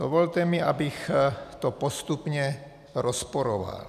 Dovolte mi, abych to postupně rozporoval.